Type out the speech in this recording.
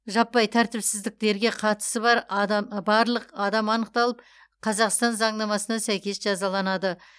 жаппай тәртіпсіздіктерге қатысы бар адам барлық адам анықталып қазақстан заңнамасына сәйкес жазаланады